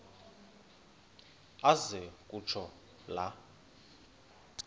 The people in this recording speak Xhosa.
aze kutsho la